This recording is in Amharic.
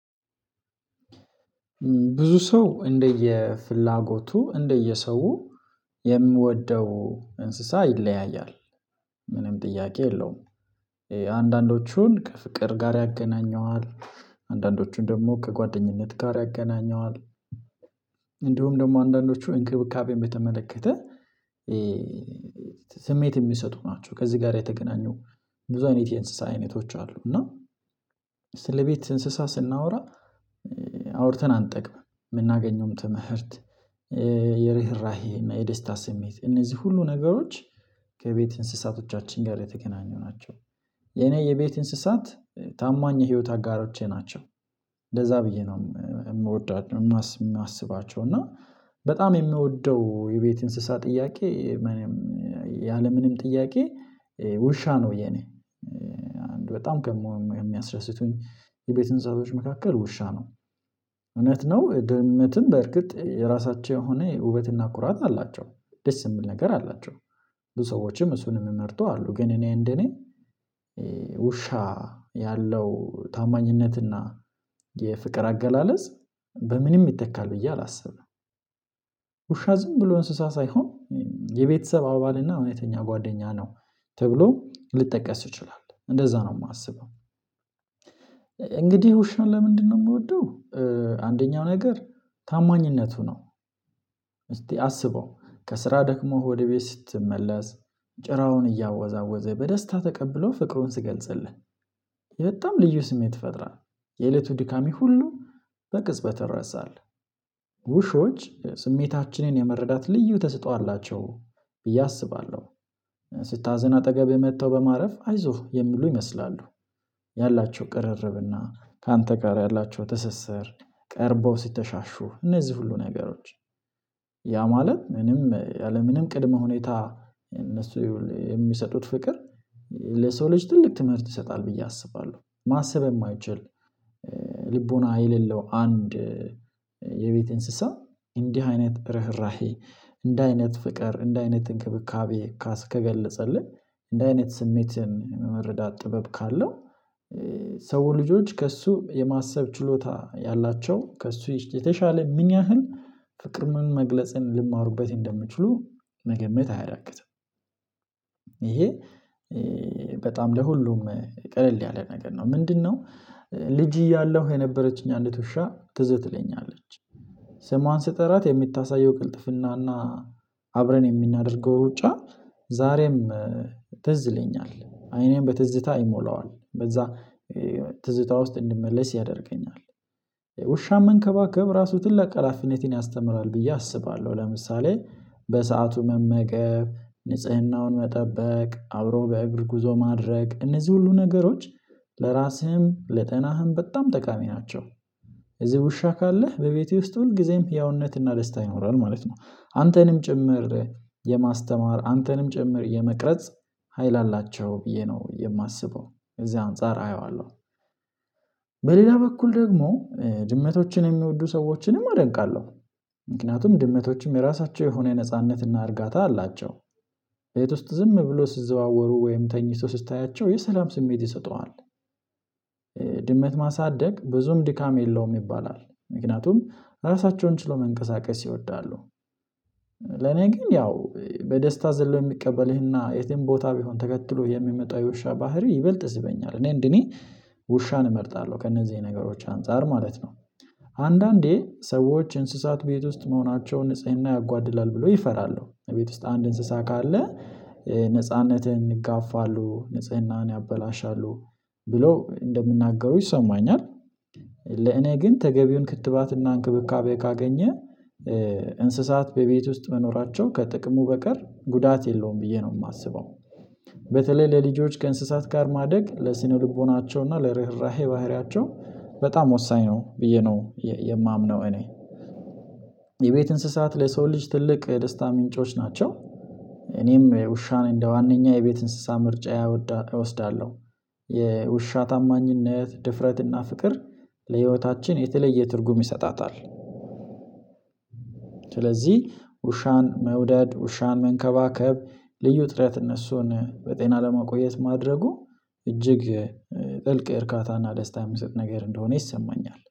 ብዙ ሰው እንደየፍላጎቱ እንደየሰው የሚወደው እንስሳ ይለያያል። ምንም ጥያቄ የለውም። አንዳንዶቹን ከፍቅር ጋር ያገናኘዋል አንዳንዶቹን ደግሞ ከጓደኝነት ጋር ያገናኘዋል። እንዲሁም ደግሞ አንዳንዶቹ እንክብካቤን በተመለከተ ስሜት የሚሰጡ ናቸው ከዚህ ጋር የተገናኙ። ብዙ አይነት የእንስሳ አይነቶች አሉ። እና ስለ ቤት እንስሳ ስናወራ አውርተን አንጠግብም የምናገኘውም ትምህርት የርህራሄ የደስታ ስሜት እነዚህ ሁሉ ነገሮች ከቤት እንስሳቶቻችን ጋር የተገናኙ ናቸው። የኔ የቤት እንስሳት ታማኝ የህይወት አጋሮቼ ናቸው። እንደዛ ብዬ ነው የምወዳቸው የማስባቸው እና በጣም የምወደው የቤት እንስሳ ጥያቄ የምንም ያለምንም ጥያቄ ውሻ ነው። የኔ በጣም ከሚያስደስቱኝ የቤት እንስሣቶች መካከል ውሻ ነው። እውነት ነው ድመትም በእርግጥ የራሳቸው የሆነ ውበትና ኩራት አላቸው ደስ የሚል ነገር አላቸው። ብዙ ሰዎችም እሱንም የሚመርጡ አሉ ግን እኔ እንደኔ ውሻ ያለው ታማኝነትና የፍቅር አገላለጽ በምንም ይተካል ብዬ አላስብም። ውሻ ዝም ብሎ እንስሳ ሳይሆን የቤተሰብ አባልና እውነተኛ ጓደኛ ነው። ተብሎ ሊጠቀስ ይችላለህ እንደዛ ነው የማስበው። እንግዲህ ውሻ ለምንድነው የምወደው? አንደኛው ነገር ታማኝነቱ ነው። እስቲ አስበው ከስራ ደክሞህ ወደ ቤት ስትመለስ ጭራውን እያወዛወዘ በደስታ ተቀብሎህ ፍቅሩን ሲገልጽልህ በጣም ልዩ ስሜት ይፈጥራል። የእለቱ ድካሜ ሁሉ በቅጽበት ይረሳል። ውሾች ስሜታችንን የመረዳት ልዩ ተሰጥቶ አላቸው ብዬ አስባለሁ። ስታዝን አጠገብህ መጥተው በማረፍ አይዞህ የሚሉ ይመስላሉ። ያላቸው ቅርርብና ካንተ ጋር ያላቸው ትስስር ቀርበው ሲተሻሹ እነዚህ ሁሉ ነገሮች ያ ማለት ምንም ያለምንም ቅድመ ሁኔታ እነሱ የሚሰጡት ፍቅር ለሰው ልጅ ትልቅ ትምህርት ይሰጣል። ብዬ አስባለሁ ማሰብ የማይችል ልቦና የሌለው አንድ የቤት እንስሳ እንዲህ አይነት ርህራሄ እንዲህ አይነት ፍቅር እንዲህ አይነት እንክብካቤ ካስ ከገለጸልህ እንዲህ አይነት መረዳት ጥበብ ካለው ሰው ልጆች ከእሱ የማሰብ ችሎታ ያላቸው ከእሱ የተሻለ ምን ያህል ፍቅር ምን መግለጽን ሊማሩበት እንደሚችሉ መገመት አያደርግም። ይሄ በጣም ለሁሉም ቀለል ያለ ነገር ነው ምንድነው? ልጅ እያለሁ የነበረችኝ አንዲት ውሻ ትዝ ትለኛለች። ስሟን ስጠራት የምታሳየው ቅልጥፍናና አብረን የምናደርገው ሩጫ ዛሬም ትዝ ይለኛል አይኔን በትዝታ አይሞላዋል በዛ ትዝታ ውስጥ እንድመለስ ያደርገኛል። ውሻን መንከባከብ ራሱ ትልቅ ሃላፊነትን ያስተምራል ብዬ አስባለሁ። ለምሳሌ በሰአቱ መመገብ ንጽህናውን መጠበቅ አብሮ በእግር ጉዞ ማድረግ እነዚህ ሁሉ ነገሮች ለራስህም ለጤናህም በጣም ጠቃሚ ናቸው። እዚህ ውሻ ካለህ በቤቴ ውስጥ ሁል ጊዜም ህያውነትና ደስታ ይኖራል ማለት ነው። አንተንም ጭምር የማስተማር አንተንም ጭምር የመቅረጽ ሀይል አላቸው ብዬ ነው የማስበው እዚህ አንፃር አየዋለሁ። በሌላ በኩል ደግሞ ድመቶችን የሚወዱ ሰዎችንም አደንቃለሁ ምክንያቱም ድመቶችም የራሳቸው የሆነ ነጻነት እና እርጋታ አላቸው ቤት ውስጥ ዝም ብሎ ሲዘዋወሩ ወይም ተኝቶ ስታያቸው የሰላም ስሜት ይሰጡሃል። ድመት ማሳደግ ብዙም ድካም የለውም ይባላል ምክንያቱም ራሳቸውን ችለው መንቀሳቀስ ይወዳሉ። ለኔ ግን ያው በደስታ ዘለው የሚቀበልህና የትም ቦታ ቢሆን ተከትሎ የሚመጣው የውሻ ባህሪ ይበልጥ ይስበኛል እኔ እንደኔ ውሻን እመርጣለሁ ከእነዚህ ነገሮች አንፃር ማለት ነው። አንዳንዴ ሰዎች እንስሳት ቤት ውስጥ መሆናቸውን ንጽህና ያጓድላል ብሎ ይፈራሉ ቤት ውስጥ አንድ እንስሳ ካለ ነጻነትን ይጋፋሉ ንጽህናን ያበላሻሉ ብሎ እንደሚናገሩ ይሰማኛል። ለእኔ ግን ተገቢውን ክትባትና እንክብካቤ ካገኘ እንስሳት በቤት ውስጥ መኖራቸው ከጥቅሙ በቀር ጉዳት የለውም ብዬ ነው የማስበው። በተለይ ለልጆች ከእንስሳት ጋር ማደግ ለስነ ልቦናቸው እና ለርህራሄ ባህሪያቸው በጣም ወሳኝ ነው ብዬ ነው የማምነው። እኔ የቤት እንስሳት ለሰው ልጅ ትልቅ የደስታ ምንጮች ናቸው። እኔም ውሻ እንደ ዋንኛ የቤት እንስሳ ምርጫ እወስዳለሁ። የውሻ ታማኝነት ድፍረትና ፍቅር ለህይወታችን የተለየ ትርጉም ይሰጣታል። ስለዚህ ውሻን መውደድ ውሻን መንከባከብ ልዩ ጥረት እነሱን በጤና ለማቆየት ማድረጉ እጅግ ጥልቅ እርካታና ደስታ የሚሰጥ ነገር እንደሆነ ይሰማኛል